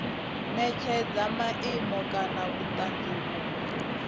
netshedza maimo kana vhutanzi vhunwe